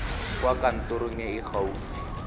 kwa kantorong e e gaufi